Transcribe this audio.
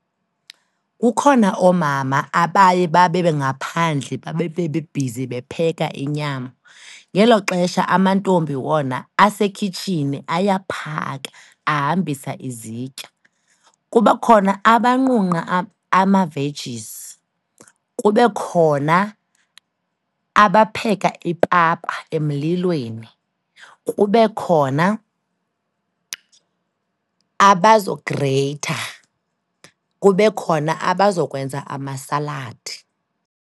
Kukhona oomama abaye babe bengaphandle, babebe bebhizi bepheka inyama, ngelo xesha amantombi wona asekhitshini ayaphaka, ahambisa izitya. Kuba khona abanqunqa ama-vegies, kube khona abapheka ipapa emlilweni, kube khona abazogreyitha, kube khona abazokwenza amasaladi.